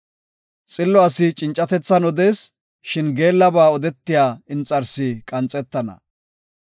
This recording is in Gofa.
Xillo asi cincatethan odees; shin geellaba odetiya inxarsi qanxetana